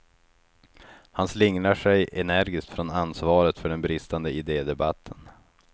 Han slingrar sig energiskt från ansvaret för den bristande idedebatten.